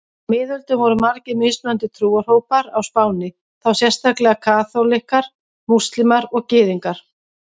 Á miðöldum voru margir mismunandi trúarhópar á Spáni, þá sérstaklega kaþólikkar, múslímar og gyðingar.